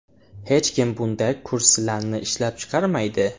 Hech kim bunday kursilarni ishlab chiqarmaydi.